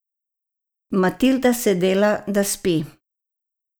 Matilda se dela, da spi.